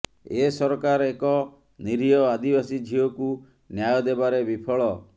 ଏ ସରକାର ଏକ ନୀରିହ ଆଦିବାସୀ ଝିଅକୁ ନ୍ୟାୟ ଦେବାରେ ବିଫଳ